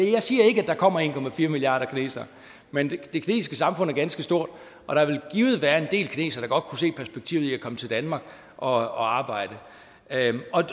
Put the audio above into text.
jeg siger ikke at der kommer en milliarder kinesere men det kinesiske samfund er ganske stort og der vil givet være en del kinesere kunne se perspektivet i at komme til danmark og arbejde